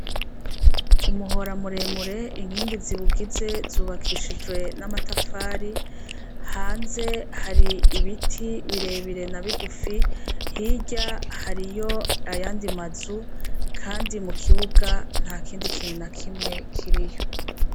Umuhora muremure inkingi ziwugize zubakishijwe n'amatafari, Hanze hari ibiti birebire nabigufi, hirya hariyo ayandi mazu kandi mukibuga ntakindi kintu nakimwe kiriyo.